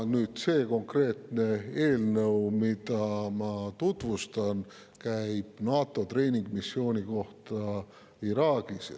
See konkreetne eelnõu, mida ma tutvustan, käsitleb NATO treeningmissiooni Iraagis.